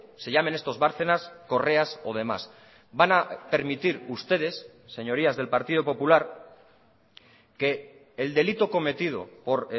se llamen estos bárcenas correas o demás van a permitir ustedes señorías del partido popular que el delito cometido por